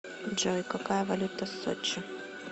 джой какая валюта сочи